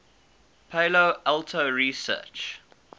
palo alto research